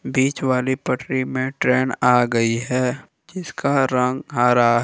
बीच वाली पटरी में ट्रेन आ गई है जिसका रंग हरा है।